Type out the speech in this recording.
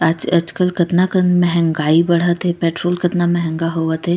आज आज कल कतना कन मेह्गाई बढ़त हे पेट्रोल कतना मेहगा होवत हे।